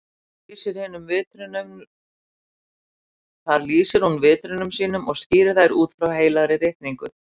Þar lýsir hún vitrunum sínum og skýrir þær út frá Heilagri ritningu.